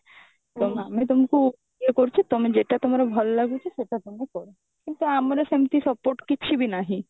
ଆମେ ତମକୁ ଇଏ କରୁଚେ ତମେ ଯେଇଟା ତମର ଭଲ ଲାଗୁଛି ସେଇଟା ତମେ କର କିନ୍ତୁ ଆମର ସେମିତି support କିଛି ବି ନାହିଁ